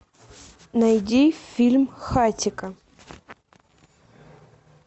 найди фильм хатико